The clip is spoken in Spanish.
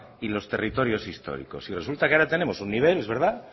y los territorios históricos y resulta que ahora tenemos un nivel es verdad